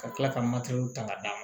Ka tila ka ta k'a d'a ma